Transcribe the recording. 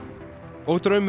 og draumur